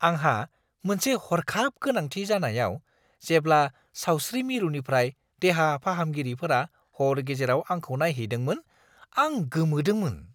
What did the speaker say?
आंहा मोनसे हरखाब गोनांथि जानायाव जेब्ला सावस्रि मिरुनिफ्राय देहा फाहामगिरिफोरा हर गेजेराव आंखौ नायहैदोंमोन आं गोमोदोंमोन ।